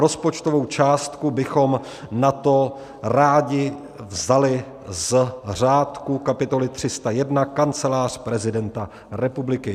Rozpočtovou částku bychom na to rádi vzali z řádku kapitoly 301 Kancelář prezidenta republiky.